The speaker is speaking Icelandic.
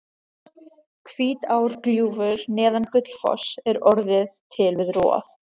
Hvítárgljúfur neðan Gullfoss er orðið til við rof